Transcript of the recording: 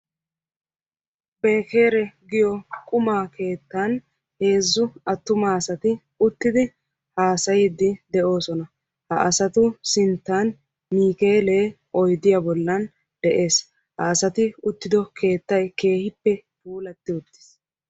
Beekeere giyo qumaa keettan heezzu attuma asati uttidi haasayiiddi de'oosona. Ha asatu sinttan niikeelee oydiya bollan de'es. Ha asati diyo keettayi keehippe puulatti uttis.